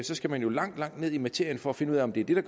så skal man jo langt langt ned i materien for at finde ud af om det er det